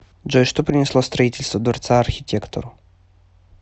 джой что принесло строительство дворца архитектору